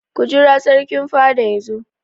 Ku jira Sarkin fada yazo!